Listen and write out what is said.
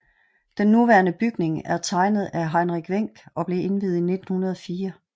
Den nuværende bygning er tegnet af Heinrich Wenck og blev indviet i 1904